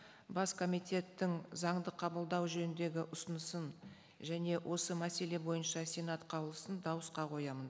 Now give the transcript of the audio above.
бас комитеттің заңды қабылдау жөніндегі ұсынысын және осы мәселе бойынша сенат қаулысын дауысқа қоямын